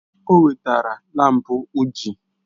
O wetara laampụ uji